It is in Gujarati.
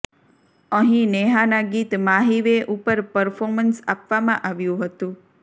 અહીં નેહાના ગીત માહી વે ઉપર પર્ફોમન્સ આપવામાં આવ્યું હતું